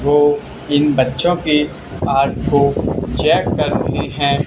वो इन बच्चों की पाठ को चेक कर रहे हैं।